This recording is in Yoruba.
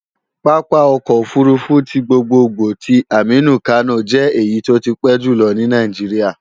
Pápá ọkọ̀ òfurufú ti gbogbogbò ti Aminu Kano jẹ́ èyí tó ti pẹ́ jùlọ ní Nàìjíríà